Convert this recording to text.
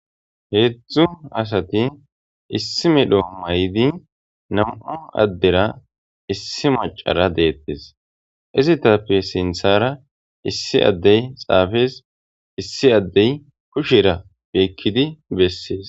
heedzdzu asati issi medho maydi nam'u addera issi macara deettes izitappe sinthara issi addey xaafees issi addey kushera beekkidi bessees